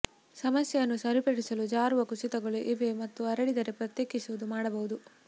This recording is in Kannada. ಸಮಸ್ಯೆಯನ್ನು ಸರಿಪಡಿಸಲು ಜಾರುವ ಕುಸಿತಗಳು ಇವೆ ಮತ್ತು ಹರಡಿದರೆ ಪ್ರತ್ಯೇಕಿಸುವುದು ಮಾಡಬಹುದು